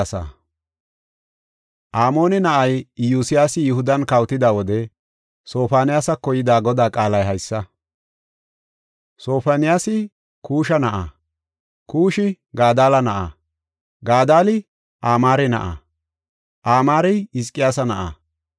Amoone na7ay Iyosyaasi Yihudan kawotida wode Sofoniyaasako yida Godaa qaalay haysa. Sofoniyaasi Kuusha na7aa; Kuushi Gadalla na7a; Gadalli Amaare na7a; Amaarey Hizqiyaasa na7aa.